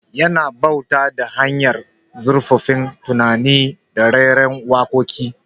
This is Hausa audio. Yana bauta ta hanyar zurfaffen tunani da rera waƙoƙi